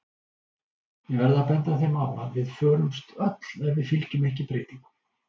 Ég verð að benda þeim á að við förumst öll ef við fylgjum ekki breytingum.